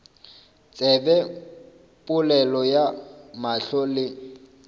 tsebe polelo ya mahlo le